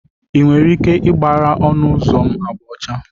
Ị nwere ike ịgbara ọnụ ụzọ m agba ọcha?